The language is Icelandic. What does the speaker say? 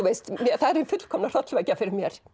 það er hin fullkomna hrollvekja fyrir mér